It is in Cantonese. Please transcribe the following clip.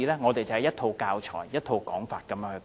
當時亦只有一套教材、一套說法。